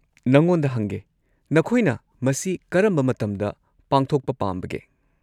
ꯅꯉꯣꯟꯗ ꯍꯪꯒꯦ, ꯅꯈꯣꯏꯅ ꯃꯁꯤ ꯀꯔꯝꯕ ꯃꯇꯝꯗ ꯄꯥꯡꯊꯣꯛꯄ ꯄꯥꯝꯕꯒꯦ?